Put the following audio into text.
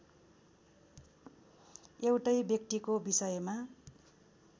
एउटै व्यक्तिको विषयमा